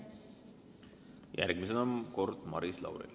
Järgmisena on Maris Lauri kord.